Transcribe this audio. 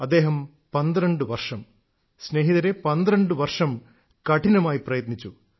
അദ്ദേഹം 12 വർഷം സ്നേഹിതരേ 12 വർഷം കഠിനമായി പ്രയത്നിച്ചു